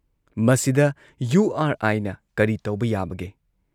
ꯃꯁꯤꯗ ꯌꯨ ꯑꯥꯔ ꯑꯥꯏꯅ ꯀꯔꯤ ꯇꯧꯕ ꯌꯥꯕꯒꯦ?